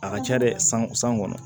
A ka ca dɛ san san kɔnɔ